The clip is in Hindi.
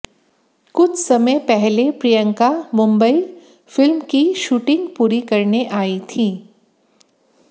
कुछ समय पहले प्रियंका मुंबई फिल्म की शूटिंग पूरी करने आई थीं